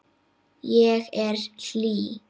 Ég er hlý.